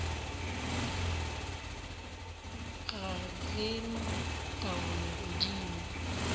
ga re na taolo godimo